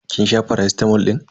Kin sha faracitamol din?